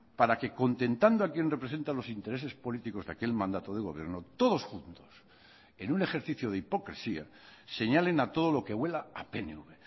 para que contentando a quien representa los intereses políticos de aquel mandato de gobierno todos juntos en un ejercicio de hipocresía señalen a todo lo que huela a pnv